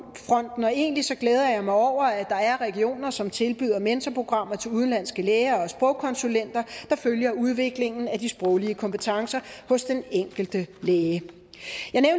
og egentlig glæder jeg mig over at der er regioner som tilbyder mentorprogrammer til udenlandske læger og sprogkonsulenter der følger udviklingen af de sproglige kompetencer hos den enkelte læge